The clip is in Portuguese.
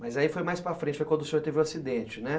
Mas aí foi mais para frente, foi quando o senhor teve o acidente, né?